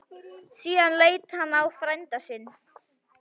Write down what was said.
Síðan leit hann á frænda sinn.